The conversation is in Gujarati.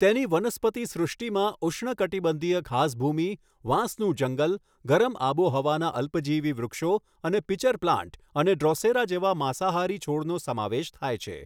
તેની વનસ્પતિ સૃષ્ટિમાં ઉષ્ણકટિબંધીય ઘાસભૂમિ, વાંસનું જંગલ, ગરમ આબોહવાના અલ્પજીવી વૃક્ષો અને પિચર પ્લાન્ટ અને ડ્રોસેરા જેવા માંસાહારી છોડનો સમાવેશ થાય છે.